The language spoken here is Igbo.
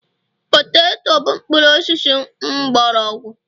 poteto bụ mpuru osisi mgbọrọgwụ